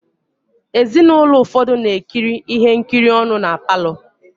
Ezinụlọ ụfọdụ na-ekirikọ ihe nkiri ọnụ na palọ.